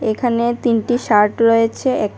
এখানে তিনটি শার্ট রয়েছে এক--